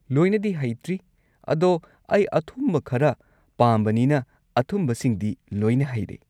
ꯂꯣꯏꯅꯗꯤ ꯍꯩꯇ꯭ꯔꯤ, ꯑꯗꯣ ꯑꯩ ꯑꯊꯨꯝꯕ ꯈꯔ ꯄꯥꯝꯕꯅꯤꯅ ꯑꯊꯨꯝꯕꯁꯤꯡꯗꯤ ꯂꯣꯏꯅ ꯍꯩꯔꯦ꯫